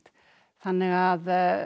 þannig að